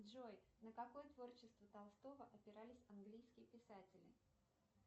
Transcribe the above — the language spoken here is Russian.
джой на какое творчество толстого опирались английские писатели